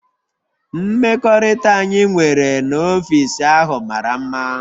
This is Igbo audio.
Mmekọrịta anyị nwere n'ọfịs ahụ mara mma